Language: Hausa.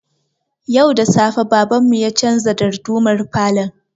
Yau da safe baban mu ya canza dardumar falon